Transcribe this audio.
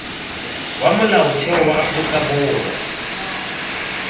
wa molaotheo wa aforika borwa